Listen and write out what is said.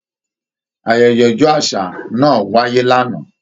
Ayẹyẹ ọjọ àṣà náà wáyé l'ana.